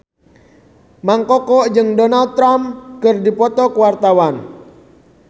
Mang Koko jeung Donald Trump keur dipoto ku wartawan